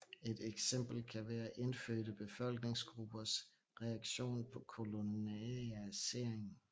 Et eksempel kan være indfødte befolkningsgrupper reaktion på kolonialisering